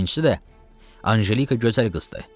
Üçüncüsü də Anjelika gözəl qızdır.